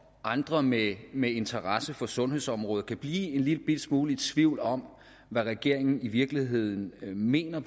andre med med interesse for sundhedsområdet kan blive en lillebitte smule i tvivl om hvad regeringen i virkeligheden mener